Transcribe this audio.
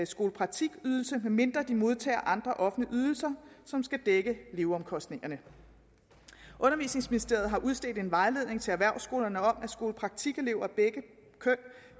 skolepraktikydelse medmindre de modtager andre offentlige ydelser som skal dække leveomkostningerne undervisningsministeriet har udstedt en vejledning til erhvervsskolerne om at skolepraktikelever